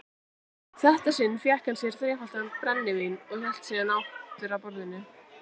þetta sinn fékk hann sér þrefaldan brennivín og hélt síðan aftur að borðinu.